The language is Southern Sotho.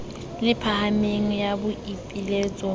le phahameng ya boipiletso ho